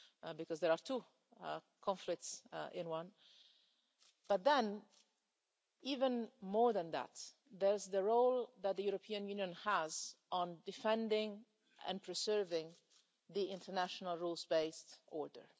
because there are two conflicts in one but then, even more than that, there's the role that the European Union has in defending and preserving the international rules-based order.